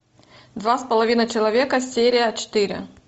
два с половиной человека серия четыре